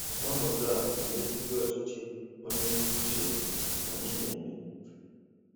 Ọnọdụ a na-ebibi ọchịchị onye kwuo uche ya anyị na-eme.